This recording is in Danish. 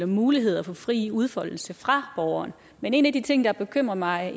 muligheder for fri udfoldelse fra borgeren men en af de ting der bekymrer mig